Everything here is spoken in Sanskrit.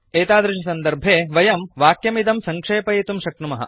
एतादृशसन्दर्भे वयं वाक्यमिदं सङ्क्षेपयितुं शक्नुमः